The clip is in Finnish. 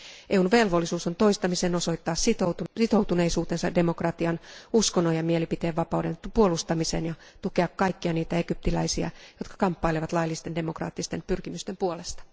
EUn velvollisuus on toistamiseen osoittaa sitoutuneisuutensa demokratian, uskonnon ja mielipiteenvapauden puolustamiseen ja tukea kaikkia niitä egyptiläisiä, jotka kamppailevat laillisten demokraattisten pyrkimysten puolesta.